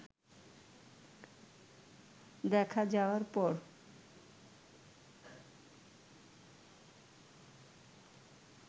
দেখা যাওয়ার পর